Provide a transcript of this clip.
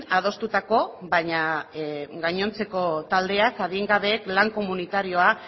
adostutako baina gainontzeko taldeak adingabeek lan komunitarioak